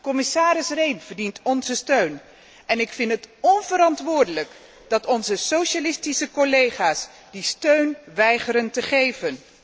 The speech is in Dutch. Commissaris Rehn verdient onze steun en ik vind het onverantwoordelijk dat onze socialistische collega's die steun weigeren te geven.